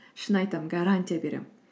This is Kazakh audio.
шын айтам гарантия беремін